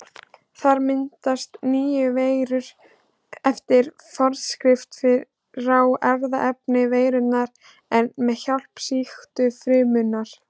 Þar myndast nýjar veirur eftir forskrift frá erfðaefni veirunnar en með hjálp sýktu frumunnar.